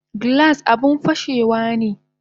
Glass abun fashewane